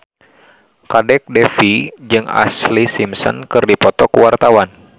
Kadek Devi jeung Ashlee Simpson keur dipoto ku wartawan